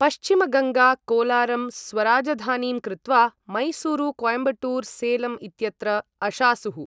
पश्चिमगङ्गाः कोलारं स्वराजधानीं कृत्वा मैसूरु, कोयम्बटूर, सेलम् इत्यत्र अशासुः।